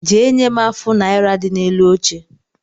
Jee nye m afụ naira dị n’elu oche